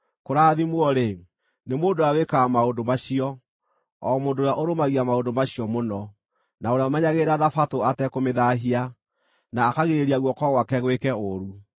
Kũrathimwo-rĩ, nĩ mũndũ ũrĩa wĩkaga maũndũ macio, o mũndũ ũrĩa ũrũmagia maũndũ macio mũno, na ũrĩa ũmenyagĩrĩra thabatũ atekũmĩthaahia, na akagirĩrĩria guoko gwake gwĩka ũũru.”